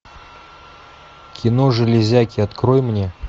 кино железяки открой мне